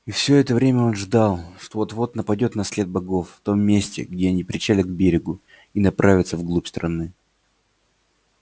и все это время он ждал что вот вот нападёт на след богов в том месте где они причалят к берегу и направятся в глубь страны